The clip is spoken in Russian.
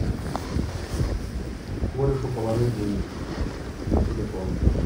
корешу положить денег на телефон